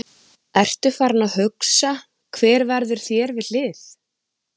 Ertu farinn að hugsa hver verður þér við hlið?